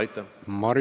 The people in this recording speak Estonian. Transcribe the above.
Aitäh!